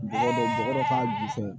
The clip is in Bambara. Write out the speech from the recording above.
Bɛɛ bɛ taa ju fɛ